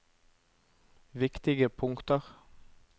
viktige punkter